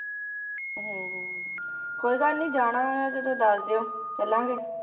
ਹੁੰ ਹੁੰ ਕੋਈ ਗੱਲ ਨੀ ਜਾਣਾ ਹੋਇਆ ਜਦੋ ਦਸ ਦਿਓ ਚਲਾਂਗੇ